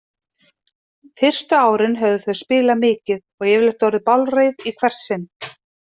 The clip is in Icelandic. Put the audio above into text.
Fyrstu árin höfðu þau spilað mikið og yfirleitt orðið bálreið í hvert sinn.